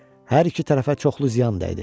Hər iki tərəfə çoxlu ziyan dəydi.